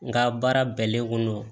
Nga baara bɛnnen ko